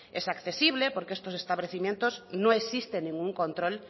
es accesible porque en estos establecimientos no existe ningún control